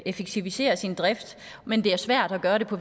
effektivisere sin drift men det er svært at gøre det på